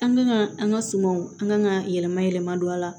An ka an ka sumanw an kan ka yɛlɛma yɛlɛma don a la